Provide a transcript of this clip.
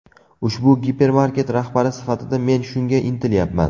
Ushbu gipermarket rahbari sifatida men shunga intilyapman.